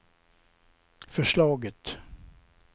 förslaget